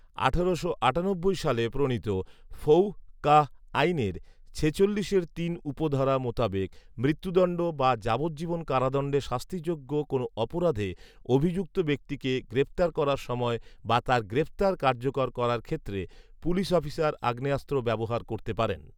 আঠারোশো আটানব্বই সালে প্রনীত ফৌঃ কাঃ আইনের ছেচল্লিশের তিন উপধারা মোতাবেক মৃত্যুদন্ড বা যাবজ্জীবন কারাদন্ডে শাস্তিযোগ্য কোনো অপরাধে অভিযুক্ত ব্যক্তিকে গ্রেফতার করার সময় বা তার গ্রেফতার কার্যকর করার ক্ষেত্রে পুলিশ অফিসার আগ্নোয়াস্ত্র ব্যবহার করতে পারেন